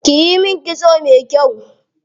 Kiyi min kitso me kyau.